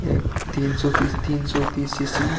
F तीन सौ तीस तीन सौ तीस सीसी --